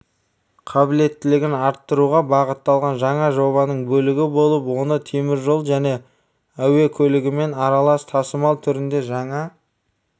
қабілеттілігін арттыруға бағытталған жаңа жобаның бөлігі болады оны теміржолжәне әуе көлігімен аралас тасымал түріндегі жаңа